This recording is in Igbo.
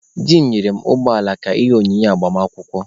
Di m nyere mụ ụgbọala ka ihe onyinye agbamakwụkwọ.